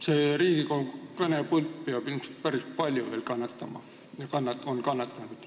See Riigikogu kõnepult on juba päris palju kannatanud ja peab ilmselt veel palju kannatama.